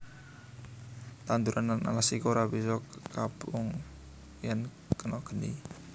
Tanduran lan alas iki ora bisa kobong yèn kena geni